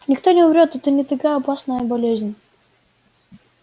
никто не умрёт это не такая опасная болезнь